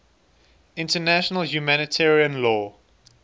international humanitarian law